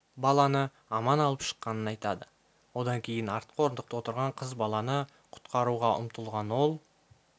баланы аман алып шыққанын айтады одан кейін артқы орындықта отырған қыз баланы құтқаруға ұмтылған ол